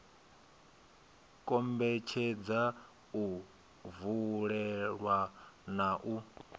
kombetshedza u vulelwa na u